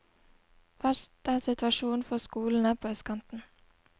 Verst er situasjonen for skolene på østkanten.